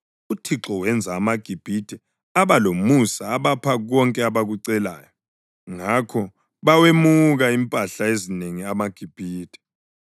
UThixo wenza amaGibhithe aba lomusa abapha konke abakucelayo. Ngakho bawemuka impahla ezinengi amaGibhithe.